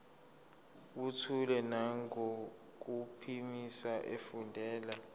buthule nangokuphimisa efundela